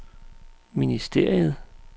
ministeriet